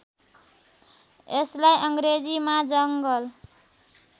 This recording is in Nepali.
यसलाई अङ्ग्रेजीमा जङ्गल